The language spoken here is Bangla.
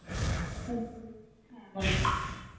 hello হ্যাঁ বলো